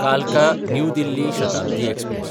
Kalka New Delhi Shatabdi express